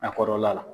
A kɔrɔla la